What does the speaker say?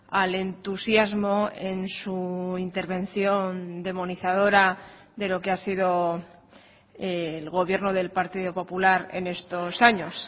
al entusiasmo en su intervención demonizadora de lo que ha sido el gobierno del partido popular en estos años